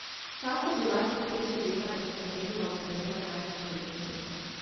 Vsa so bila slepeče bela in so merila v premeru največ pet metrov.